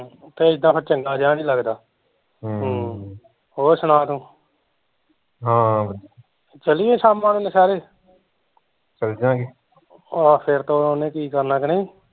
ਤੇ ਏਦਾਂ ਫਿਰ ਚੰਗਾ ਜਿਹਾ ਨੀ ਲੱਗਦਾ ਹਮ ਹਮ ਹੋਰ ਸੁਣਾ ਤੂੰ ਚੱਲੀਏ ਸ਼ਾਮਾ ਨੂੰ ਨੁਸਹੇਰੇ ਆਹੋ ਫਿਰ ਤਾਂ ਓਹਨੇ ਕੀ ਕਰਨਾ ਕਿ ਨਹੀਂ